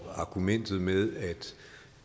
argumentet med at